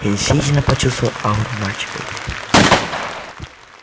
я действительно почувствовал ауру мальчика у двери